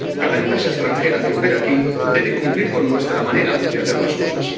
Cada empresa extranjera que opere aquí debe cumplir con nuestra manera de hacer las cosas.